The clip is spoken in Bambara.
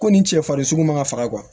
Ko nin cɛ farisoko ma ka faga